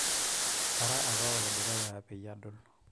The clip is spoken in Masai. kara apa ole dukuya peyie adol